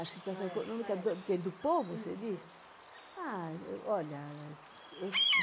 A situação econômica do que do povo, você diz? Isso. Ah olha eu